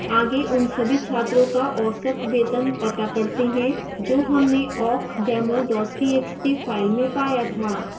आगे उन सभी छात्रों का औसत वेतन पता करते हैं जो हमने awkdemo txt फ़ाइल में पाया था